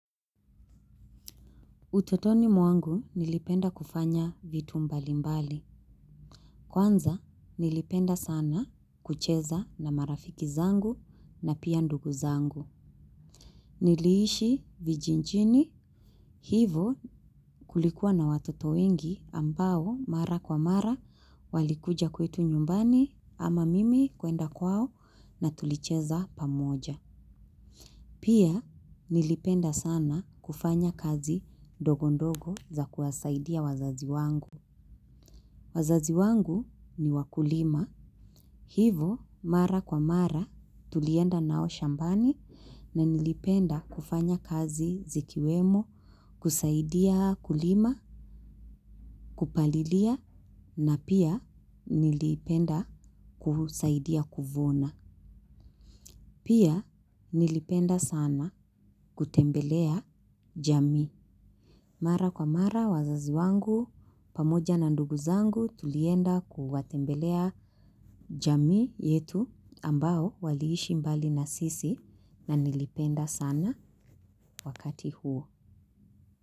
Utotoni mwangu nilipenda kufanya vitu mbali mbali. Kwanza nilipenda sana kucheza na marafiki zangu na pia ndugu zangu. Niliishi vijijini hivo kulikuwa na watoto wengi ambao mara kwa mara walikuja kwetu nyumbani ama mimi kwenda kwao na tulicheza pamoja. Pia nilipenda sana kufanya kazi ndogondogo za kuwasaidia wazazi wangu. Wazazi wangu ni wakulima. Hivo mara kwa mara tulienda nao shambani na nilipenda kufanya kazi zikiwemo kusaidia kulima, kupalilia na pia nilipenda kusaidia kuvuna. Pia nilipenda sana kutembelea jami. Mara kwa mara wazazi wangu, pamoja na ndugu zangu tulienda kuwatembelea jamii yetu ambao waliishi mbali na sisi na nilipenda sana wakati huo.